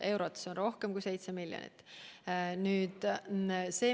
Seda on rohkem kui 7 miljonit.